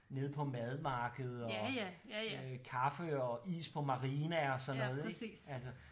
Nede på madmarkedet og kaffe og is på Marina og sådan noget ik altså